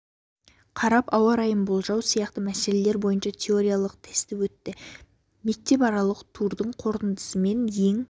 қарап ауа райын болжау сияқты мәселелер бойынша теориялық тесті өтті осы мектепаралық турдың қорытындысымен ең